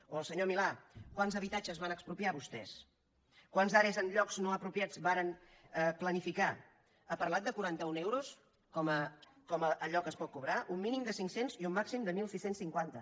o al senyor milà quants habitatges van expropiar vostès quantes are en llocs no apropiats varen planificar ha parlat de quaranta un euros com a allò que es pot cobrar un mínim de cinc cents i un màxim de setze cinquanta